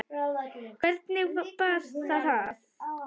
Hvernig bar það að?